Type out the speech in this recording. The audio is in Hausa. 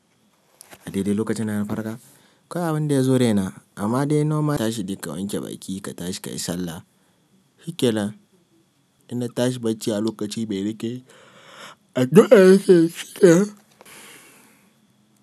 A daidai lokacin dana farka, kawai abin da ya zo raina amma dai normal tashin da ka wanke bakin ka, ka tashi ka yi sallah. Hikilan inna tashi bacci a lokaci me nake addu'a.